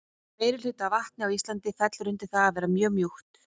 Meirihluti af vatni á Íslandi fellur undir það að vera mjög mjúkt.